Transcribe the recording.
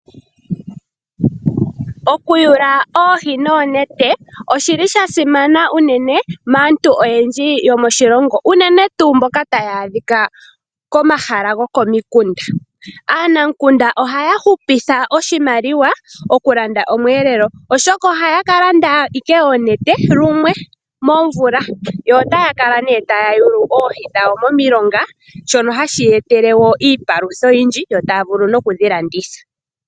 Okuyula oohi noonete oshili sha simana unene maantu oyendji yomoshilongo uunene tuu mboka taya adhika komahala gokomiikunda. Aanamukunda ohaya hupitha oshimaliwa okulanda omweelelo, oshoka ohaya ka landa wala oonete lumwe momvula, yo taya kala ne taya yulu oohi dhawo momilonga shoka hashi ya etele iipalutha oyindji yo taya vulu nokudhi landitha.